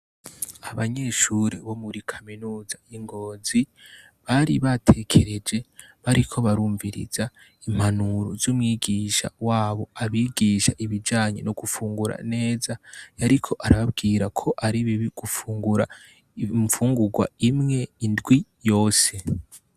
Abanyeshuri bo muri kaminuza y' I Ngozi, bari batekereje , bariko barumviriza impanuro z' umwigisha wabo abigisha ibijanye no gufungura neza ,yariko arababwira ko ari bibi gufungura infungurwa Imwe indwi yose.